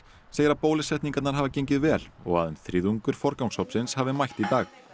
segir að bólusetningar hafi gengið vel og um þriðjungur hafi mætt í dag